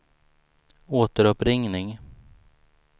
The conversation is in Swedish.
återuppringning